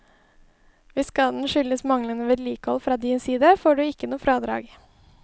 Hvis skaden skyldes manglende vedlikehold fra din side, får du ikke noe fradrag.